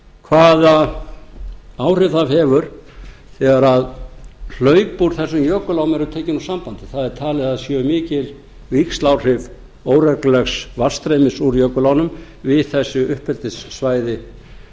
hvaða áhrif það hefur þegar hlaup úr þessum jökulám eru tekin úr sambandi það er talið að það séu mikil víxláhrif óreglulegs vatnsstreymis úr jökulánum við þessi uppeldissvæði